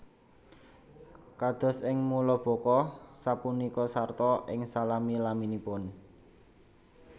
Kados ing mulabuka sapunika sarta ing salami laminipun